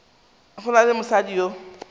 go na le mosadi yo